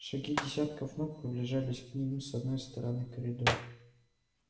шаги десятков ног приближались к ним с одной стороны коридора